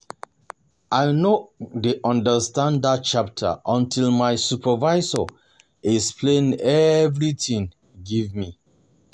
I no um dey understand dat chapter until my supervisor explain everything give me